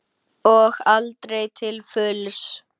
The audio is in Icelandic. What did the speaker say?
Og aldrei til fulls.